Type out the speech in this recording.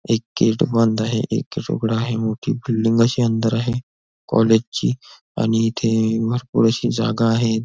एक गेट बंद आहे एक गेट उघडा आहे मोठी बिल्डिंग अशी अंदर आहे कॉलेज ची आणि इथे भरपूर अशी जागा आहे.